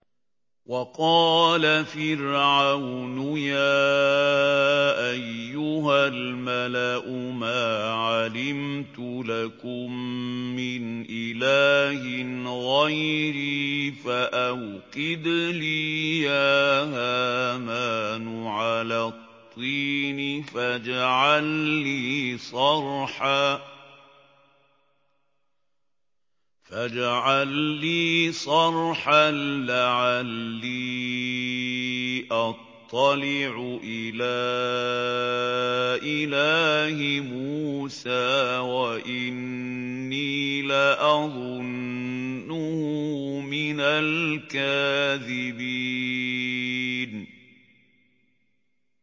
وَقَالَ فِرْعَوْنُ يَا أَيُّهَا الْمَلَأُ مَا عَلِمْتُ لَكُم مِّنْ إِلَٰهٍ غَيْرِي فَأَوْقِدْ لِي يَا هَامَانُ عَلَى الطِّينِ فَاجْعَل لِّي صَرْحًا لَّعَلِّي أَطَّلِعُ إِلَىٰ إِلَٰهِ مُوسَىٰ وَإِنِّي لَأَظُنُّهُ مِنَ الْكَاذِبِينَ